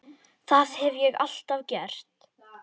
Það hef ég alltaf gert.